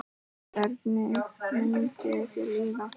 Hvernig myndi þér líða?